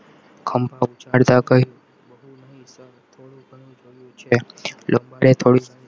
હમ પહોંચાડતા કહ્યું બહુ નહીં તો થોડું ઘણું જોયું છે.